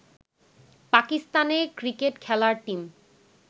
পাকিস্তানের ক্রিকেট খেলার টিম